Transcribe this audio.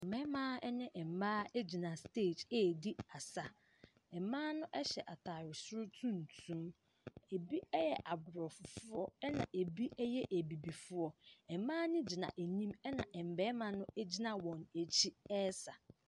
Mmɛma ne mmaa agyina steege adi asa. mma no ɛhyɛ ataare soro tuntum. Ebi ɛyɛ abrɔfo foɔ ɛna ebi ɛyɛ abibifoɔ. Mmaa ne gyina anim ɛna mmɛma no agyina wɔn akyi ɛsa.